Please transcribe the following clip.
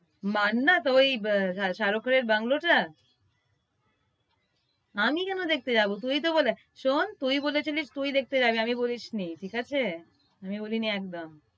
মান্নাত? ওই শাহরুখ খানের bungalow টা? আমি কেনো দেখতে যাবো? তুই তো বলেছিলি। শোন, তুই বলেছিলিস তুই দেখতে যাবি আমি বলি নি ঠিক আছে? আমি বলি নি একদম।